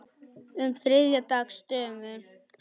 um þriðja dags dömum.